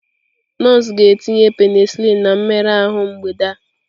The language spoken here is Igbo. Nọọsụ ga-etinye penicillin na mmerụ ahụ mgbede a.